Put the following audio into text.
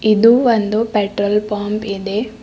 ಇದು ಒಂದು petrol pump ಇದೆ.